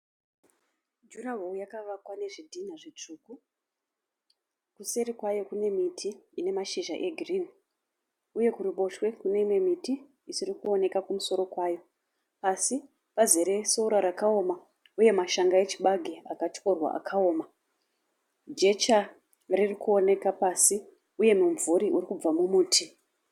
Juraho yakavakwa nezvidhina zvitsvuku. Kuseri kwayo kune miti ine mashizha egirini uye kuruboshwe kune imwe miti isiri kuoneka kumusoro kwayo. Pasi pazere sora rakaoma uye mashanga echibage akatyorwa akaoma. Jecha riri kuoneka pasi uye mumvuri uri kubva mumuti.